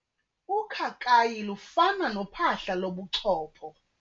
Ukhakayi lufana nophahla lobuchopho.